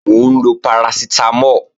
Mò ń lọ parasitamo